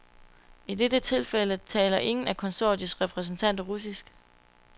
I dette tilfælde taler ingen af konsortiets repræsentanter russisk.